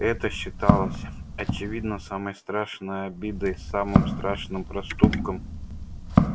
это считалось очевидно самой страшной обидой самым страшным проступком